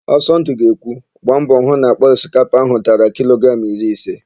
Ọsọndụ ga-ekwu, "gba mbọ hụ na àkpà osikapa áhụ̀ dara kilogramụ iri ise"!